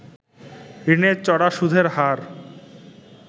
ঋণের চড়া সুদের হার